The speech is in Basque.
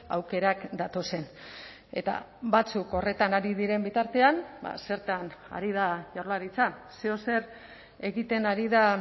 aukerak datozen eta batzuk horretan ari diren bitartean zertan ari da jaurlaritza zeozer egiten ari da